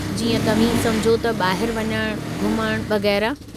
जीअं, तव्हीं समुझो त ॿाहिरि वञणु, घुमणु वगै़रह।